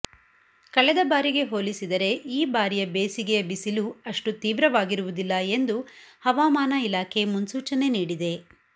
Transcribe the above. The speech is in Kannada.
ಕಳೆದ ಬಾರಿಗೆ ಹೋಲಿಸಿದರೆ ಈ ಬಾರಿಯ ಬೇಸಿಗೆಯ ಬಿಸಿಲು ಅಷ್ಟು ತೀವ್ರವಾಗಿರುವುದಿಲ್ಲ ಎಂದು ಹವಾಮಾನ ಇಲಾಖೆ ಮುನ್ಸೂಚನೆ ನೀಡಿದೆ